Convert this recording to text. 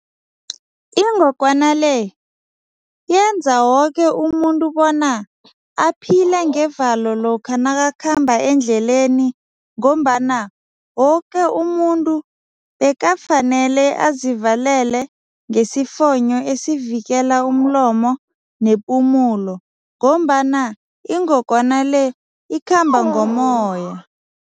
Ingogwana le yenza woke umuntu bona aphile ngevalo lokha nakakhamba endleleni ngombana woke umuntu bekafanele azivalele ngesifonyo esivikela umlomo nepumulo, ngombana ingogwana le ikhamba ngomoya.